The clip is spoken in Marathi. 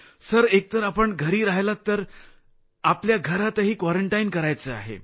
सर एकतर आपण घरी राहिला तर आपल्याला घरातही क्वारंटाईन करायचं आहे